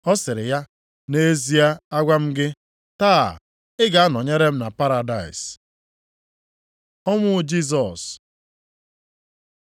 Ọ sịrị ya, “Nʼezie a agwa m gị, taa, ị ga-anọnyere m na paradaịs.” Ọnwụ Jisọs